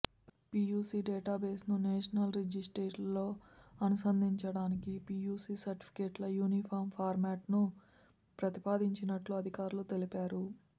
PUC database ను national రిజిస్టర్తో అనుసంధానించడానికి పియుసి సర్టిఫికెట్ల యూనిఫాం ఫార్మాట్ను ప్రతిపాదించినట్లు అధికారులు తెలిపారు